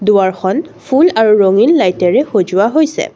দুৱাৰখন ফুল আৰু ৰঙীন লাইটেৰে সজোৱা হৈছে।